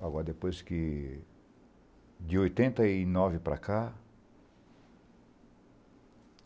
Agora, depois que... De oitenta e nove para cá...